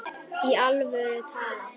Í alvöru talað?